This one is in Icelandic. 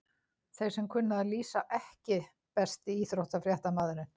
Þeir sem kunna að lýsa EKKI besti íþróttafréttamaðurinn?